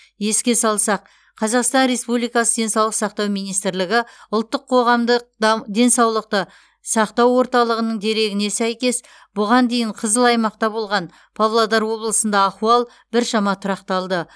еске салсақ қазақстан республикасы денсаулық сақтау министрлігі ұлттық қоғамдық да денсаулықты сақтау орталығының дерегіне сәйкес бұған дейін қызыл аймақта болған павлодар облысында ахуал біршама тұрақталды